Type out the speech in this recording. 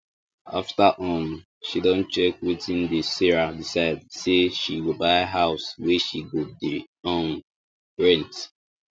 after um she don check wetin dey sarah decide say she go buy house wey she go dey um rent